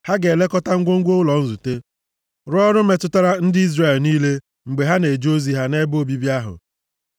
Ha ga-elekọta ngwongwo ụlọ nzute, rụọ ọrụ metụtara ndị Izrel niile mgbe ha na-eje ozi ha nʼebe obibi ahụ.